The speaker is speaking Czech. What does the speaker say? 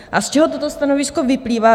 A z čeho toto stanovisko vyplývá?